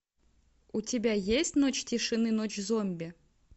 у тебя есть ночь тишины ночь зомби